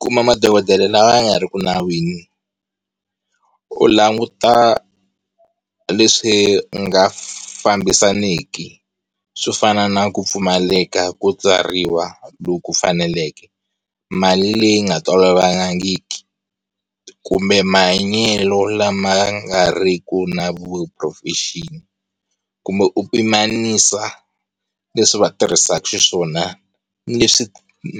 Kuma madokodela lawa ya nga ri ku nawini, u languta leswi nga fambisaniki swo fana na ku pfumaleka ku tswariwa loku ku faneleke, mali leyi yi nga tolovelekangiki, kumbe mahanyelo lama nga riki na vu-proffesion-i, kumbe u pimanisa leswi va tirhisaka xiswona ni leswi